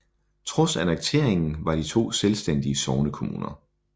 Trods annekteringen var de to selvstændige sognekommuner